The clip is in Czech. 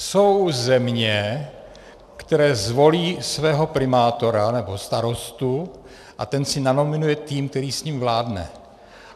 Jsou země, které zvolí svého primátora nebo starostu a ten si nanominuje tým, který s ním vládne.